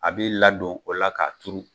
A b'i ladon o la k'a turu